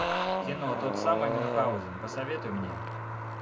кино тот самый мюнхгаузен посоветуй мне